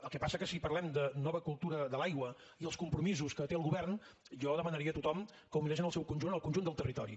el que passa és que si parlem de nova cultura de l’aigua i els compromisos que té el govern jo demanaria a tothom que ho mirés en el seu conjunt en el conjunt del territori